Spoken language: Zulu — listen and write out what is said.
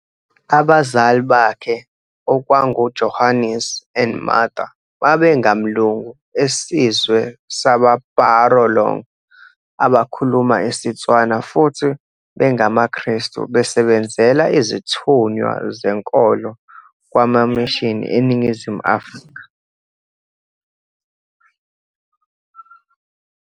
Abazali bahke okwakungu Johannes and Martha babengamlungu esizwe saba-Barolong abakhuluma isiTswana futhi bengamaKrestu besebenzela izithunywa zenkolo kwamamishini eNingizimu Afrika.